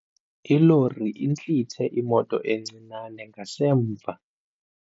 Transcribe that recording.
Ilori intlithe imoto encinane ngasemva.